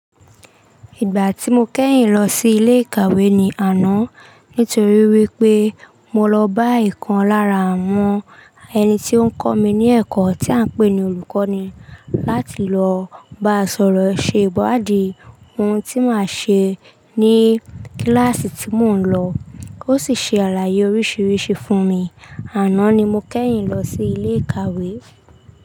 Ìgbà tí mo kẹ́yìn lọ sí ilé ìkàwé ni àná, nítorí wípé mo lọ bá ìkan lára àwọn ẹni tí ó ń kọ́ mi ní ẹ̀kọ́ tí à ń pè ní olùkọ́ni láti lọ bá sọ̀rọ̀ ṣe ìwaádì ohun tí màá ṣe ní kíláàsì tí mò ń lọ. Ó sì ṣe àlàyé oríṣiríṣi fún mi. Àná ni mo kẹ́yìn lọ sí ilé ìkàwé.